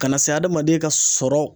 Kana se adamaden ka sɔrɔ